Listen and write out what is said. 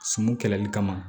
Sumun kɛlɛli kama